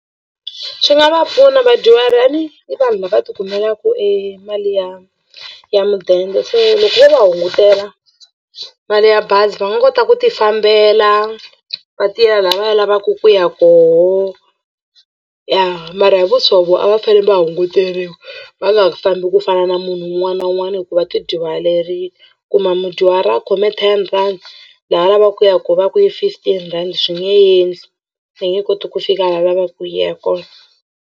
Swi nga va pfuna vadyuhari njhani a ni i vanhu lava tikumelaka e mali ya ya mudende se loko se vo va hungutela mali ya bazi va nga kota ku tifambela va tiyela laha va lavaku ku ya koho ya mara hi vu swo a va fane va hunguteriwa va nga ha fambi ku fana na munhu un'wana na un'wana hi ku va tidyuharile kuma mudyuhari a khome ten rhandi laha a lavaka ku yaka kona va ku i fifteen rhandi swi nge endli va nge koti ku fika laha va lavaka ku ya kona.